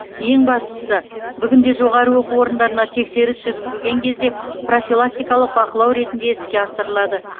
ең бастысы бүгінде жоғары оқу орындарына тексеріс жүргізілген кезде профилактикалық бақылау ретінде іске асырылады